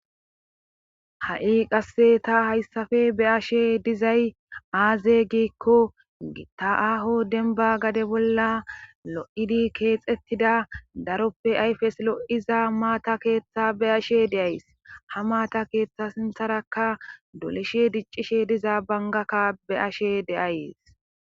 ha7i qasse ta hayssafe be ashe dizay aaze giikko gitta aho denba gade bolla lo7idi keexettida daroppe ayfes lo7iza maata keeththa be ashe deays ha maata keeththa sintharaka doleshe diccishe diza bangakka be ashe deayes